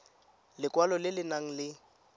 lekwalo le le nang le